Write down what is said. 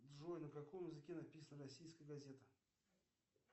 джой на каком языке написана российская газета